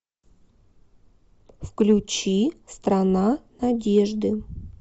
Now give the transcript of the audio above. включи страна надежды